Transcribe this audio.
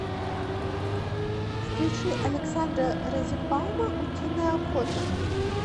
включи александра розенбаума утиная охота